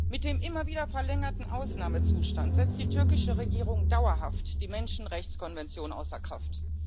Mit dem immer wieder verlängerten Ausnahmezustand setzt die türkische Regierung dauerhaft die Menschenrechtskonvention außer Kraft.